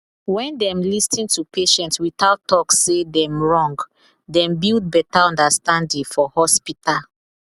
when dem lis ten to patient without talk say dem wrong dem build better understanding for hospital